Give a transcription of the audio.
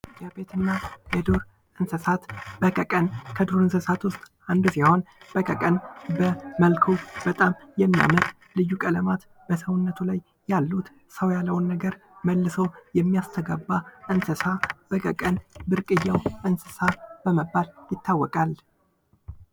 የቤትና የዱር እንስሳት በቀቀን ቀን ከዱር እንስሳት ውስጥ አንዱ ሲሆን በቀቀን በመልኩ በጣም የሚያምር በሰውነት ላይ ብዙ ቀለማት ያሉ ሰው ያለውን ነገር መልሶ የሚያስተጋባ እንስሳ በቀቀን ብርቅዮ እንስሳ በመባል ይታወቃል፟።